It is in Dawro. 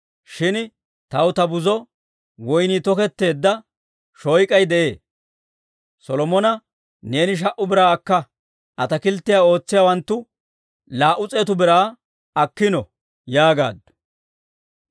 Shin taw ta buzo woynnii toketteedda shoyk'ay de'ee; Solomona, neeni sha"u biraa akka; ataakilttiyaa ootsiyaawanttu laa"u s'eetu biraa akkino yaagaaddu.